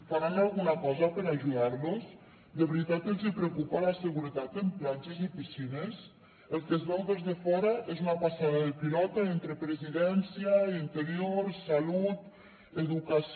faran alguna cosa per ajudar los de veritat els hi preocupa la seguretat en platges i piscines el que es veu des de fora és una passada de pilota entre presidència interior salut educació